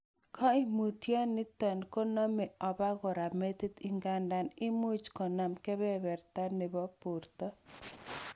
Koimutioni konome obokora metit , ngandan imuch konam kebererta nebo borto.